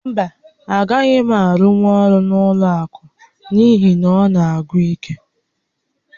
Mba, agaghị m arụnwu ọrụ n'ụlọ àkụ̀ n'ihi na ọ na-agwụ íké